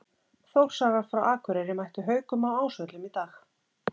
Þórsarar frá Akureyri mættu Haukum á Ásvöllum í dag.